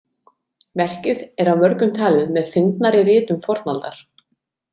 Verkið er af mörgum talið með fyndnari ritum fornaldar.